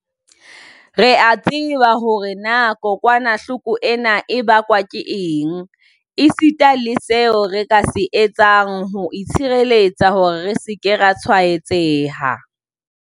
Re a tseba hore na kokwanahloko ena e bakwa ke eng, esita le seo re ka se etsang ho itshireletsa hore re se ke ra tshwaetseha.